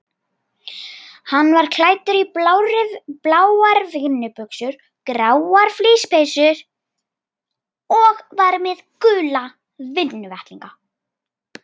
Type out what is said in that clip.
Hann var klæddur í bláar vinnubuxur, gráa flíspeysu og var með gula vinnuvettlinga.